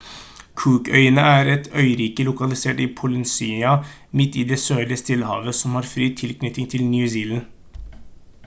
cook-øyene er et øyrike lokalisert i polynesia midt i det sørlige stillehavet som har fri tilknytning til new zealand